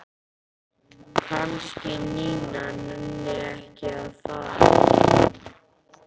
Kannski Nína nenni ekki að fara.